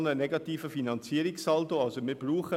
Der Finanzierungssaldo ist aber weiterhin negativ.